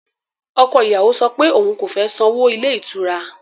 Ọkọ ìyàwó sọ pé òun kò fẹ́ sanwó ilé ìtura